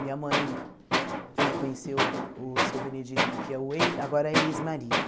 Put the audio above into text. Minha mãe né conheceu o seu Benedito, que é o ei agora é ex-marido.